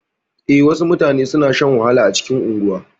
E, wasu mutane suna shan wahala a cikin unguwa.